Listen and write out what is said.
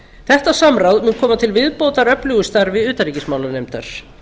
þetta samráð mun koma til viðbótar öflugu starfi utanríkismálanefndar